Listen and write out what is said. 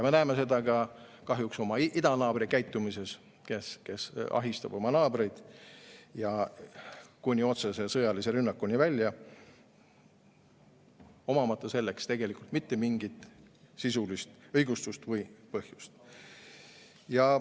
Me näeme seda kahjuks ka oma idanaabri käitumises, kes ahistab oma naabreid, kuni otsese sõjalise rünnakuni välja, omamata selleks tegelikult mitte mingit sisulist õigustust või põhjust.